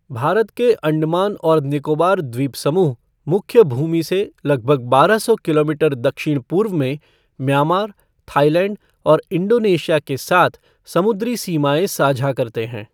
भारत के अंडमान और निकोबार द्वीप समूह, मुख्य भूमि से लगभग बारह सौ किलोमीटर दक्षिण पूर्व में, म्यांमार, थाईलैंड और इंडोनेशिया के साथ समुद्री सीमाएँ साझा करते हैं।